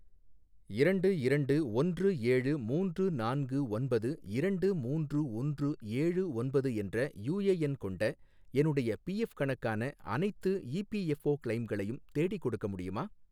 இரண்டு இரண்டு ஒன்று ஏழு மூன்று நான்கு ஒன்பது இரண்டு மூன்று ஒன்று ஏழு ஒன்பது என்ற யுஏஎன் கொண்ட, என்னுடைய பிஎஃப் கணக்கான அனைத்து இபிஎஃப்ஓ கிளெய்ம்களையும் தேடிக்கொடுக்க முடியுமா?